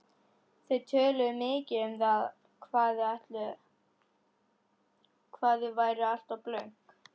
Þau töluðu mikið um það hvað þau væru alltaf blönk.